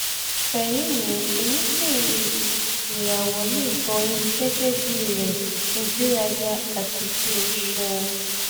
fẹ̀rí mi èyikéyìí ìràwọ̀ lè boyin gẹ́gẹ́ bíi rẹ̀ ìgbéraga àti kí o ṣeun